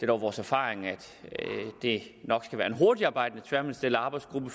dog vores erfaring at det nok skal være en hurtigtarbejdende tværministeriel arbejdsgruppe